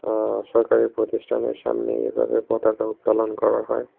আ সরকারি প্রতিষ্ঠানের সামনে এভাবে পতাকা উত্তোলন করা হয়।